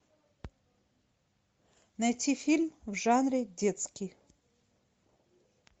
найти фильм в жанре детский